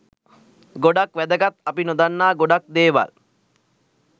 ගොඩක් වැදගත් අපි නොදන්නා ගොඩක් දේවල්